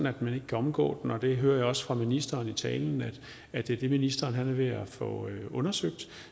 at man ikke kan omgå den jeg hører også fra ministeren i talen at det er det ministeren er ved at få undersøgt